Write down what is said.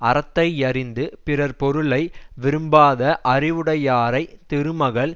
அறத்தை யறிந்து பிறர் பொருளை விரும்பாத அறிவுடையாரை திருமகள்